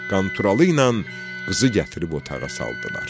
Qanturalı ilə qızı gətirib otağa saldılar.